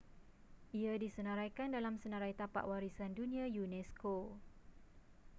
ia disenaraikan dalam senarai tapak warisan dunia unesco